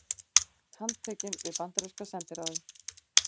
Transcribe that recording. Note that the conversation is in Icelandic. Handtekinn við bandaríska sendiráðið